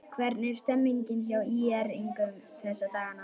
Hvernig er stemningin hjá ÍR-ingum þessa dagana?